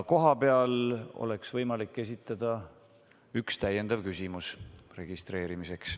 Kohapeal on võimalik esitada üks täpsustav küsimus.